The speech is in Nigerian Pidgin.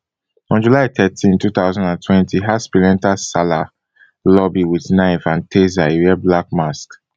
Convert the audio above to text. on july thirteen two thousand and twenty haspil enta salah lobby wit knife and taser e wear black mask